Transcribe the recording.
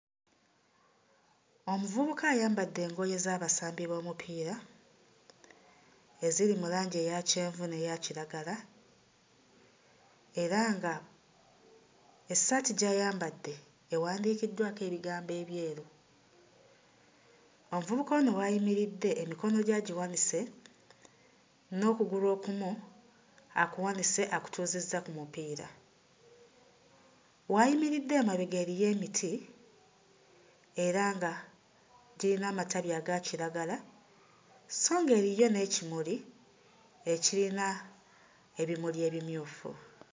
Omuvubuka ayambadde engoye z'abasambi b'omupiira eziri mu langi eya kyenvu n'eya kiragala era ng'essaati gy'ayambadde ewandiikiddwako ebigambo ebyeru. Omuvubuka ono w'ayimiridde emikono gye agiwanise, n'okugulu okumu akuwanise akutuuzizza ku mupiira. W'ayimiridde emabega eriyo emiti era nga giyina amatabi aga kiragala sso ng'eriyo n'ekimuli ekiyina ebimuli ebimyufu.